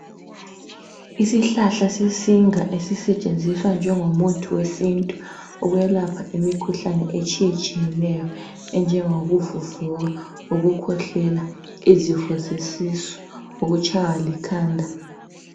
Isihlahla sesinga esisetshenziswa njengomuthi wesintu ukwelapha imikhuhlane etshiyetshiyeneyo enjengokuvuvuka, ukukhwehlela, izifo zesisu ukutshaywa likhanda.